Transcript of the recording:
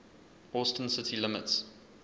austin city limits